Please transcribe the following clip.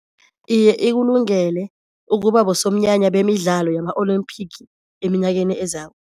Iye ikulungele ukuba bosomnyanya bemidlalo yama olimphigi eminyakeni ezako.